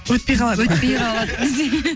өтпей қалады өтпей қалады десең